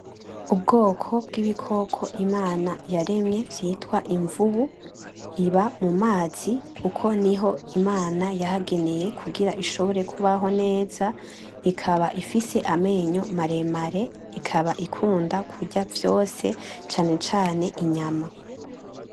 Ubwoko bw'ibikoko imana yaremye vyitwa invubu, iba mu mazi kuko niho imana yahageneye kugira ishobore kubaho neza, ikaba ifise amenyo maremare ikaba ikuna kurya vyose cane cane inyama.